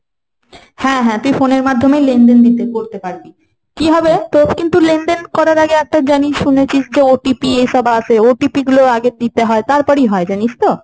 হ্যাঁ হ্যাঁ তুই phone এর মাধ্যমেই লেনদেন নিতে করতে পারবি। কি হবে তোর কিন্তু লেনদেন করার আগে জানিস শুনেছিস যে একটা OTP এইসব আসে OTP গুলো আগে দিতে হয়, তারপরেই হয়। জিনিস তো?